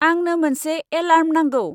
आंनो मोनसे एलार्म नांगौ।